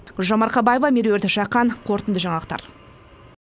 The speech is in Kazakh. гүлжан марқабаева меруерт жақан қорытынды жаңалықтар